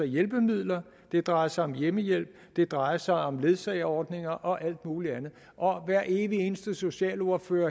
hjælpemidler det drejer sig om hjemmehjælp det drejer sig om ledsageordninger og om alt muligt andet og hver evig eneste socialordfører